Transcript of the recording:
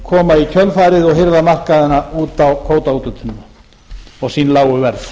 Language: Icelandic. koma í kjölfarið og hirða markaðina út á kvótaúthlutunina og sín lágu verð